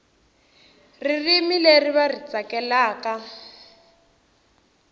ririmi leri va ri tsakelaka